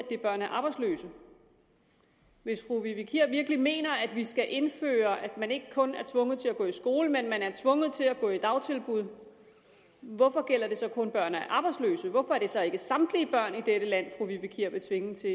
gælde børn af arbejdsløse hvis fru vivi kier virkelig mener at vi skal indføre at man ikke kun er tvunget til at gå i skole men at man er tvunget til at gå i dagtilbud hvorfor gælder det så kun børn af arbejdsløse hvorfor er det så ikke samtlige børn i dette land fru vivi kier vil tvinge til